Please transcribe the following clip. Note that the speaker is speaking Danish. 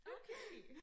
Okay